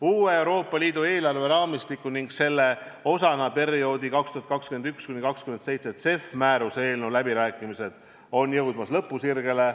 Uue Euroopa Liidu eelarveraamistiku ning selle osana perioodi 2021–2027 CEF-i määruse eelnõu läbirääkimised on jõudmas lõpusirgele.